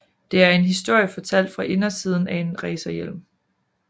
Det er en historie fortalt fra indersiden af en racerhjelm